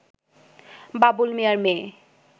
বাবুল মিয়ার মেয়ে